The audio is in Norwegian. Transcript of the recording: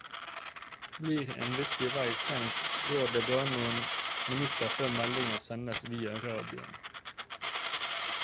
Blir en viktig vei stengt går det bare noen minutter før melding sendes via radioen.